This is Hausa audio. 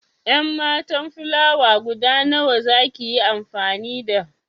En matan filawa guda nawa za ki yi amfani da?